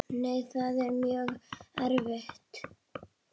Nei, það er mjög erfitt.